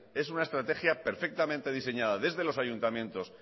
es una estrategia perfectamente diseñada desde los ayuntamientos